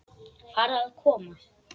Farðu að koma.